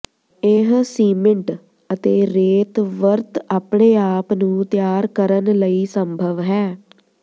ਇਹ ਸੀਮਿੰਟ ਅਤੇ ਰੇਤ ਵਰਤ ਆਪਣੇ ਆਪ ਨੂੰ ਤਿਆਰ ਕਰਨ ਲਈ ਸੰਭਵ ਹੈ